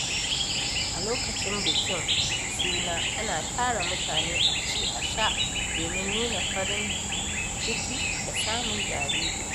A lokacin bikin suna ana tara mutane a ci a sha domin nuna farin ciki da samun jariri.